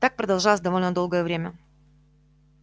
так продолжалось довольно долгое время